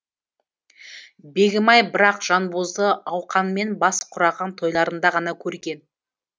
бегімай бірақ жанбозды ауқанмен бас құраған тойларында ғана көрген